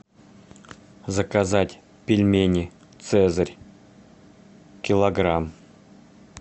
заказать пельмени цезарь килограмм